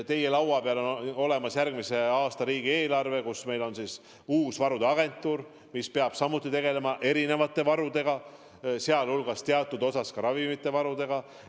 Teie laua peal on järgmise aasta riigieelarve, kus on kirjas uus varude agentuur, mis peab samuti tegelema erinevate varudega, sealhulgas teatud osas ka ravimivarudega.